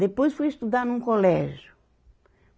Depois fui estudar num colégio.